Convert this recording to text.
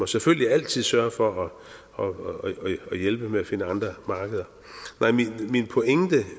selvfølgelig altid sørge for at hjælpe med at finde andre markeder nej min pointe